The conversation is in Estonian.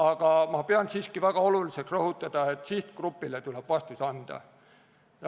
Aga ma pean siiski väga oluliseks rõhutada, et sihtgrupile tuleb vastus anda.